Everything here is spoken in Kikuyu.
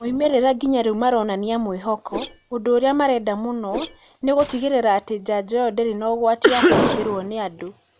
Moimĩrĩra nginya rĩu maronĩnia mwihoko, ũndũ ũrĩa marenda mũno nĩ gũtigĩrĩra atĩ njanjo ĩyo ndĩrĩ na ũgwati wa kũhũthĩrũo nĩ andũ.